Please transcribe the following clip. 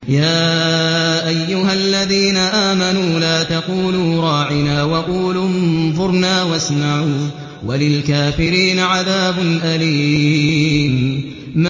يَا أَيُّهَا الَّذِينَ آمَنُوا لَا تَقُولُوا رَاعِنَا وَقُولُوا انظُرْنَا وَاسْمَعُوا ۗ وَلِلْكَافِرِينَ عَذَابٌ أَلِيمٌ